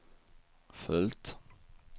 följt